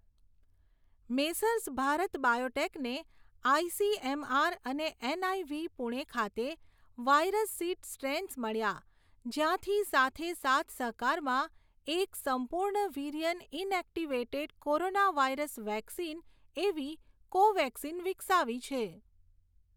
Messrs Bharat બાયોટેકને ICMR અને NIV Pune ખાતે વાયરસ સીડ સ્ટ્રેન્સ મળ્યા, જ્યાંથી સાથે સાથસહકારમાં એક સંપૂર્ણ virion inactivated corona virus vaccine એવી કોવેક્સિન વિકસાવી છે.